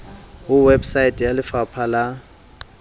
ho website ya lefapa la